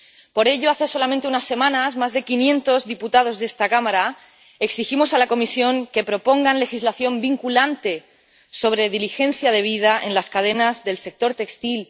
Por ello, hace solamente unas semanas más de quinientos diputados de esta Cámara exigimos a la Comisión que propusiera legislación vinculante sobre diligencia debida en las cadenas del sector textil.